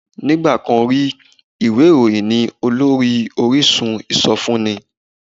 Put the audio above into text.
Nígbà kan rí, ìwé ìròyìn ni olórí orísun ìsọfúnni